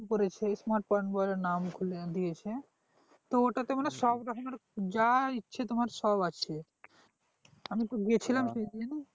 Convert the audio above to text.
করেছে smart point বলে নাম খুলে দিয়েছে তো ওটাতে মানে সব রকমের যা ইচ্ছে তোমার সব আছে আমি তো গিয়েছিলাম